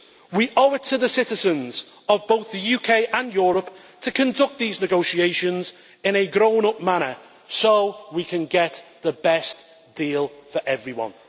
We owe it to the citizens of both the UK and Europe to conduct these negotiations in a grown up manner so we can get the best deal for everyone.